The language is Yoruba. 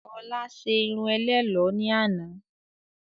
Ọlá ṣé irun ẹlẹ́lọ̀ ni àná.